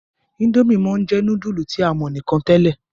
Indomie món jé nudulu tí a mọ nìkàn tèlé.